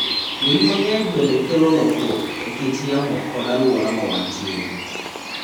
Winy mang'eny bende kelo lokruok e kit yamo kod alwora ma wantie.